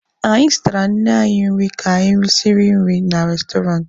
Anyị zụtara nne anyị nri ka anyị risiri nri na restọrantị.